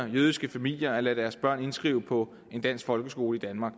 jødiske familier at lade deres børn indskrive på en dansk folkeskole i danmark